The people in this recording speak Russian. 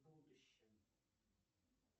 в будущем